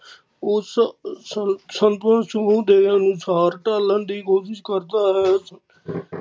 ਉਸ ਸਕੁੱਲ ਸਮੂਹ ਦੇ ਅਨੁਸਾਰ ਢਾਲਣ ਦੀ ਕੋਸ਼ਿਸ਼ ਕਰਦਾ ਹੈ